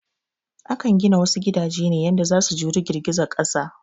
Akan gina wasu gidaje ne yanda za su juri girgizar ƙasa